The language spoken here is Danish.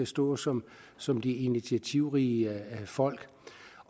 stå som som de initiativrige folk